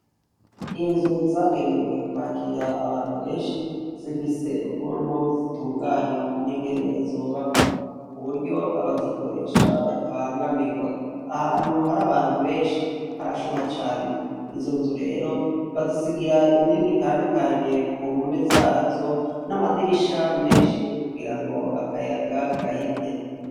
Inzu zagenewe kwakira abantu benshi zifise zifise ukunu zitunganwa ningene zubakwa kuburyo abazikoresha batabangamirwa ahantu harabantu benshi harashuha cane izonzu rero bazisigira imyenge itandukanye kumpome zazo namadirisha menshi kugirango akayaga gahite